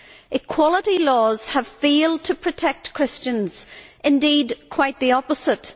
Equality laws have failed to protect Christians indeed, quite the opposite.